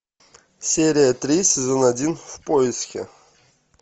серия три сезон один в поиске